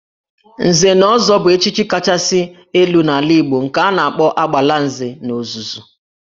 Nze na ọzọ bụ echichi kachasị elu n'ala Igbo nke a na-akpọ Agbalanze n'ozuzu